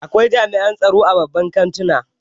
Akwai jami'in tsaro a babban kantuna